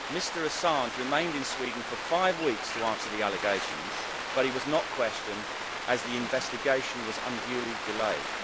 Mr Assange remained in Sweden for five weeks to answer the allegations, but he was not questioned as the investigation was unduly delayed.